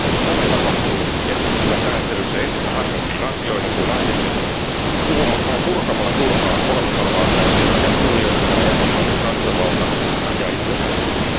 Tämä tapahtuu keskittymällä sääntelyssä entistä harvempiin asioihin kuin aiemmin, purkamalla turhaa olemassa olevaa sääntelyä ja kunnioittamalla jäsenmaiden kansanvaltaisuutta ja itsenäisyyttä.